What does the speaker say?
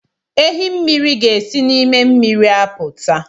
Ehi mmiri ga-esi nime miri aputa